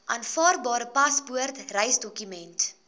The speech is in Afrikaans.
aanvaarbare paspoort reisdokument